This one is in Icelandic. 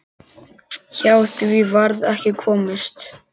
Hjá því varð ekki komist.